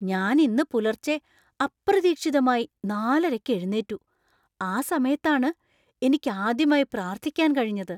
ഞാൻ ഇന്ന് പുലർച്ചെ അപ്രതീക്ഷിതമായി നാലരയ്ക്കു എഴുന്നേറ്റു, ആ സമയത്താണ് എനിക്ക് ആദ്യമായി പ്രാർത്ഥിക്കാൻ കഴിഞ്ഞത്.